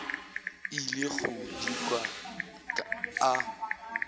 ile go di kwa a